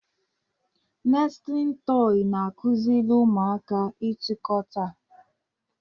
Nestịlin tọị na-akụziri ụmụaka ịtụkọta.